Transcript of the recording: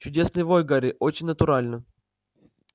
чудесный вой гарри очень натурально